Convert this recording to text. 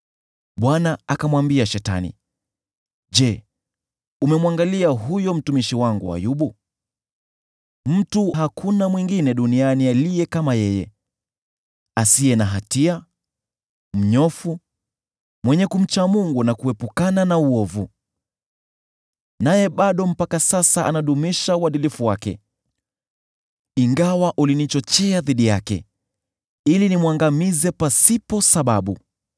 Bwana akamwambia Shetani, “Je, umemwangalia huyo mtumishi wangu Ayubu? Hakuna mtu mwingine duniani aliye kama yeye, mtu asiye na hatia, ni mnyofu, mwenye kumcha Mungu na kuepukana na uovu. Naye bado anadumisha uadilifu wake, ingawa ulinichochea dhidi yake, ili nimwangamize pasipo sababu.”